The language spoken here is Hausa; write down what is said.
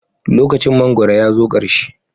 Lokacin mangwaro ya zo ƙarshe.